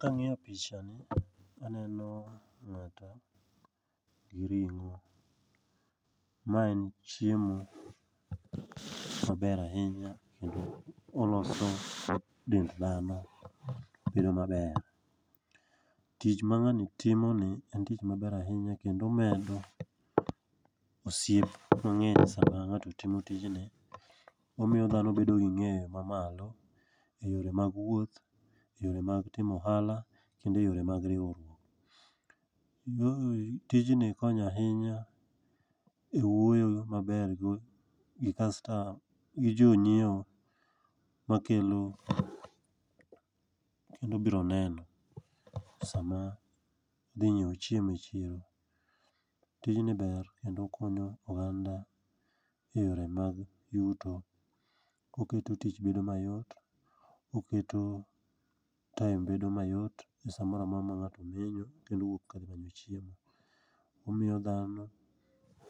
Kang'iyo pichani, aneno ng'ato gi ring'o. Ma en chiemo maber ahinya kendo oloso dend dhano bedo maber. Tich ma ng'ani timoni en tich maber ahinya kendo omedo osiep mang'eny sama ng'ato timo tijni. Omiyo dhano bedo gi ng'eyo mamalo e yore mag wuoth,e yore mag timo ohala kendo e yore mag riwruok. Tijni konyo ahinya e wuoyo maber gi jonyiewo makelo sama dhi nyiewo chiemo e chiro. Tijni ber kendo okonyo ohala e yore mag yuto, oketo tich bedo mayot. Oketo time bedo mayot e sa mora mora ma ng'ato ni e yo kendo wuok ka dhi manyo chiemo. Omiyo dhano